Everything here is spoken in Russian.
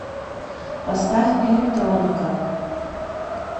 поставь электроника